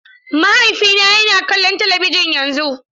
Mahaifina yana kallon talabijin yanzu.